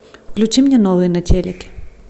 включи мне новый на телеке